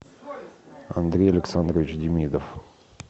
андрей александрович демидов